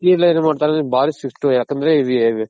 City ಎನ್ಬಾ ಮಾಡ್ತಾರೆ ಬಾರಿ ಶಿಸ್ತು ಯಾಕಂದ್ರೆ